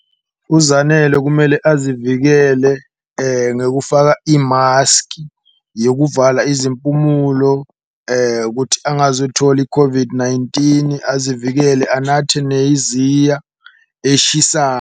UZanele kumele azivikele ngekufaka imaskhi yokuvala izimpumulo kuthi angazuthola i-COVID-19 azivikele, anathe .